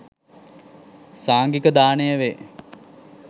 සංඝික දානය වේ.